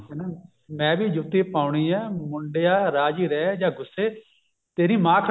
ਹਨਾ ਮੈਂ ਵੀ ਜੁੱਤੀ ਪਾਉਣੀ ਆ ਮੁੰਡਿਆਂ ਰਾਜੀ ਰਹਿ ਜਾਂ ਗੁੱਸੇ ਤੇਰੀ ਮਾਂ